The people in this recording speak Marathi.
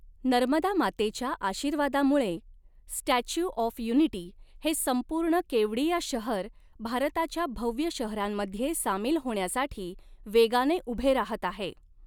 नर्मदा मातेच्या आशीर्वादामुळे स्टॅच्यू ऑफ यूनिटी, हे संपूर्ण केवड़िया शहर, भारताच्या भव्य शहरांमध्ये सामील होण्यासाठी वेगाने उभे राहत आहे.